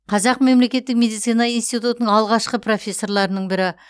қазақ мемлекеттік медицина институтының алғашқы профессорларының бірі